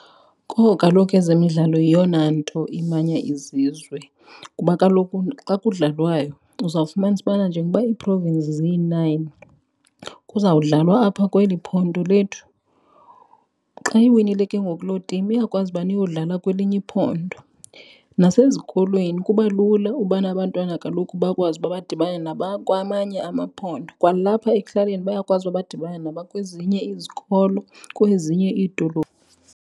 Kowu kaloku ezemidlalo yeyona nto imanya izizwe kuba kaloku xa kudlalwayo uzawufumanisa ubana njengoba ii-province ziyi-nine kuzawudlalwa apha kweli phondo lethu. Xa iwinile ke ngoku loo timu iyakwazi ubana iyodlala kwelinye iphondo. Nasezikolweni kuba lula ubana abantwana kaloku bakwazi uba badibane nabakwamanye amaphondo. Kwalapha ekuhlaleni bayakwazi uba badibane nabakwezinye izikolo kwezinye iidolophu.